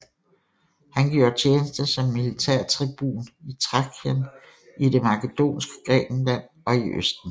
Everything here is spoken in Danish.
Han gjorde tjeneste som militærtribun i Thrakien i det makedonske Grækenland og i østen